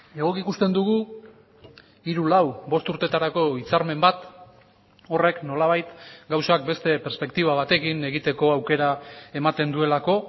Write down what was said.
egoki ikusten dugu hiru lau bost urtetarako hitzarmen bat horrek nolabait gauzak beste perspektiba batekin egiteko aukera ematen duelako